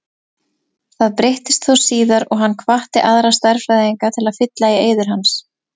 Það breyttist þó síðar og hann hvatti aðra stærðfræðinga til að fylla í eyður hans.